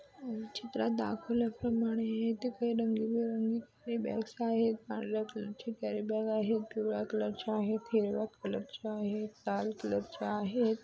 चित्रात दाखवल्याप्रमाणे इथे काही रंगीबिरंगी बॅग्स आहेत. पांढर्‍या कलरची कॅरिबॅग आहे पिवळ्या कलरच्या आहेत हिरव्या कलरच्या आहेत लाल कलरच्या आहेत.